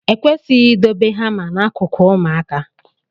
E kwesịghị idobe hama n'akụkụ ụmụaka.